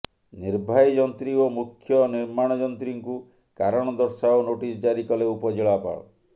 ନିର୍ବାହୀ ଯନ୍ତ୍ରୀ ଓ ମୁଖ୍ୟ ନିର୍ମାଣ ଯନ୍ତ୍ରୀଙ୍କୁ କାରଣ ଦର୍ଶାଅ ନୋଟିସ ଜାରି କଲେ ଉପଜିଲ୍ଲାପାଳ